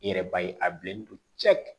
I yɛrɛ b'a ye a bilennen don cɛ